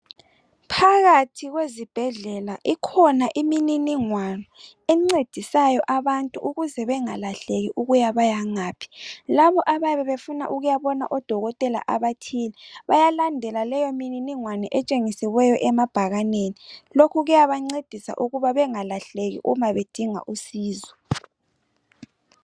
Phakathi kwezibhedlela ikhona imininingwane encedisayo abantu ukuze bengalahleki ukuba bayangaphi. Labo abayabe befuna ukuyabona odokotela abathile bayalandela leyo mininingwane etshengisiweyo emabhakanini. Lokhu kuyabancedisa ukuba bengalahleki uma bedinga usizo.